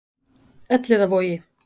Elliðavogi